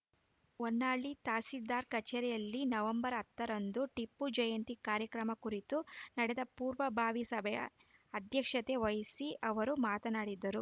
ಹೊನ್ನಾಳಿ ತಹಸೀಲ್ದಾರ್‌ ಕಚೇರಿಯಲ್ಲಿ ನವೆಂಬರ್ ಹತ್ತರಂದು ಟಿಪ್ಪು ಜಯಂತಿ ಕಾರ್ಯಕ್ರಮ ಕುರಿತು ನಡೆದ ಪೂರ್ವಭಾವಿ ಸಭೆ ಅಧ್ಯಕ್ಷತೆ ವಹಿಸಿ ಅವರು ಮಾತನಾಡಿದರು